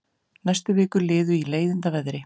Næstu vikur liðu í leiðindaveðri.